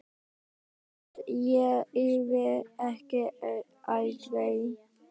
Ég hélt ég yrði ekki eldri!